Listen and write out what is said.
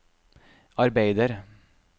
arbeider